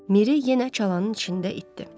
Miri yenə çalanın içində itdi.